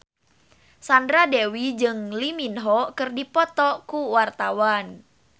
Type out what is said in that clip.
Sandra Dewi jeung Lee Min Ho keur dipoto ku wartawan